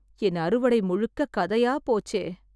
என் அறுவடை முழுக்க கதையா போச்சே!